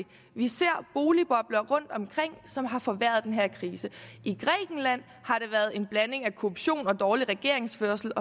vi ser boligbobler rundtomkring som har forværret den her krise i grækenland har det været en blanding af korruption og dårlig regeringsførelse